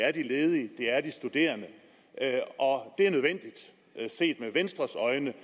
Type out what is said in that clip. er de ledige det er de studerende og set med venstres øjne